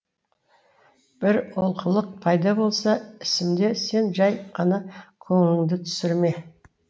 бір олқылық пайда болса ісімде сен жай ғана көңіліңді түсірме